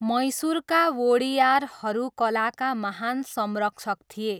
मैसुरका वोडियारहरू कलाका महान संरक्षक थिए।